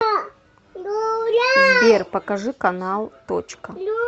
сбер покажи канал точка